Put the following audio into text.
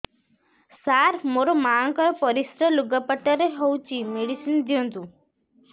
ସାର ମୋର ମାଆଙ୍କର ପରିସ୍ରା ଲୁଗାପଟା ରେ ହଉଚି ମେଡିସିନ ଦିଅନ୍ତୁ